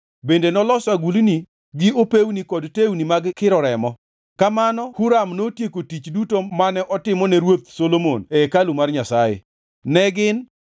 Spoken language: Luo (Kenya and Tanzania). Bende noloso agulni gi opewni kod tewni mag kiro remo. Kamano Huram notieko tich duto mane otimo ne Ruoth Solomon e hekalu mar Nyasaye. Ne gin: